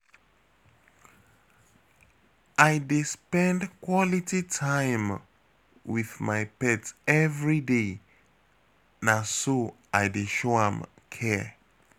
I dey spend quality time wit my pet everyday, na so I dey show am care.